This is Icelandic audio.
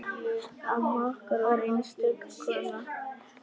Amma okkar var einstök kona.